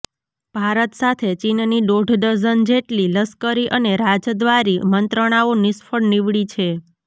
ભારત સાથે ચીનની દોઢ ડઝન જેટલી લશ્કરી અને રાજદ્વારી મંત્રણાઓ નિષ્ફળ નીવડી છે